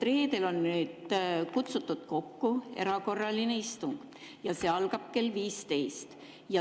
Reedeks on kokku kutsutud erakorraline istung ja see algab kell 15.